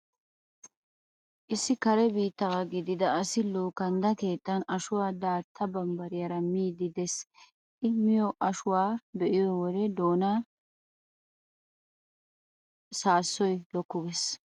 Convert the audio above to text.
Issi kare Biittaawaa gidida asi issi luukandda keettan ashuwaa daatta bambbariyaara miiddi de'ees. I miyo ashuwaa be'iyo wode doonaara saassoy lokku gees.